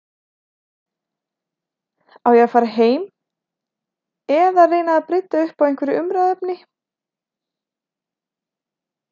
Á ég að fara heim eða reyna að brydda upp á einhverju umræðuefni?